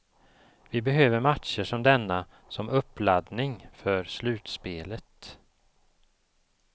Vi behöver matcher som denna som uppladdning för slutspelet.